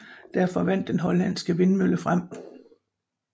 Derefter vandt den hollandske vindmølle frem